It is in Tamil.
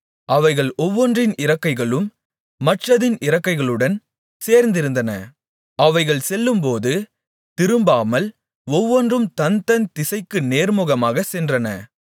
அவைகள் ஒவ்வொன்றின் இறக்கைகளும் மற்றதின் இறக்கைகளுடன் சேர்ந்திருந்தன அவைகள் செல்லும்போது திரும்பாமல் ஒவ்வொன்றும் தன்தன் திசைக்கு நேர்முகமாகச் சென்றன